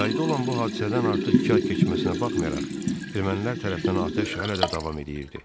Yayda olan bu hadisədən artıq iki ay keçməsinə baxmayaraq, ermənilər tərəfdən atəş hələ də davam edirdi.